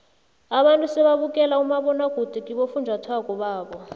abantu sebabukela umabonwakude kibofunjathwako babo